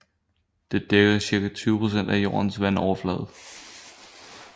Det dækker cirka 20 procent af jordens vandoverflade